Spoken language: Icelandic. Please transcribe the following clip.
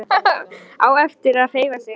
Á erfitt með að hreyfa sig.